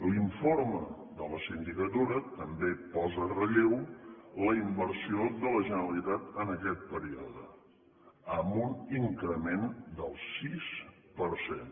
l’informe de la sindicatura també posa en relleu la inversió de la generalitat en aquest període amb un increment del sis per cent